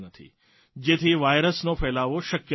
જેથી વાયરસનો ફેલાવો શક્ય નહીં બને